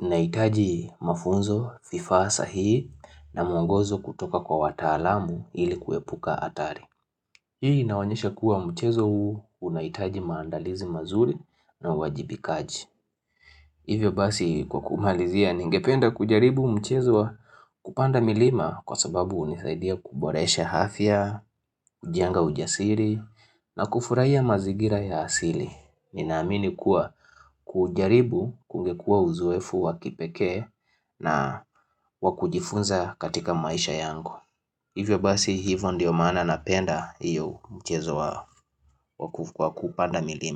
Nahitaji mafunzo, vifaa sahihi na mwongozo kutoka kwa watalaamu ili kuepuka hatari. Hii inaonyesha kuwa mchezo huu unahitaji maandalizi mazuri na uwajibikaji Hivyo basi kwa kumalizia ningependa kujaribu mchezo wa kupanda milima kwa sababu unisaidia kuboresha afya, hujenga ujasiri na kufurahia mazigira ya asili. Ninaamini kuwa kujaribu kungekua uzoefu wa kipekee na wa kujifunza katika maisha yangu Hivyo basi hivo ndio maana napenda hiyo mchezo wa kupanda milima.